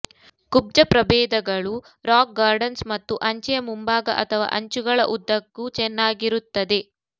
ಕುಬ್ಜ ಪ್ರಭೇದಗಳು rock gardens ಮತ್ತು ಅಂಚೆಯ ಮುಂಭಾಗ ಅಥವಾ ಅಂಚುಗಳ ಉದ್ದಕ್ಕೂ ಚೆನ್ನಾಗಿರುತ್ತದೆ